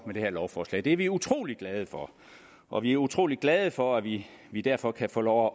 med det her lovforslag det er vi utrolig glade for og vi er utrolig glade for at vi vi derfor kan få lov